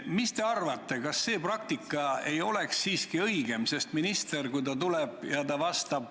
Mis te arvate, kas see praktika ei oleks siiski õigem?